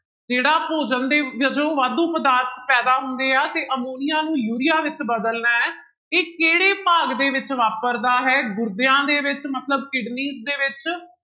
ਜਿਹੜਾ ਭੋਜਨ ਦੇ ਜਦੋਂ ਵਾਧੂ ਪਦਾਰਥ ਪੈਦਾ ਹੁੰਦੇ ਆ, ਤਾਂ ਅਮੋਨੀਆ ਨੂੰ ਯੂਰੀਆ ਵਿੱਚ ਬਦਲਣਾ ਹੈ ਤੇ ਕਿਹੜੇ ਭਾਗ ਦੇ ਵਿੱਚ ਵਾਪਰਦਾ ਹੈ, ਗੁਰਦਿਆਂ ਦੇ ਵਿੱਚ ਮਤਲਬ kidneys ਦੇ ਵਿੱਚ